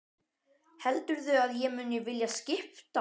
Heldurðu að ég mundi vilja skipta?